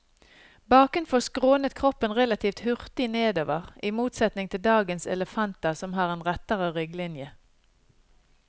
Bakenfor skrånet kroppen relativt hurtig nedover, i motsetning til dagens elefanter som har en rettere rygglinje.